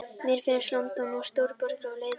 Mér finnst London of stór borg og leiðinleg.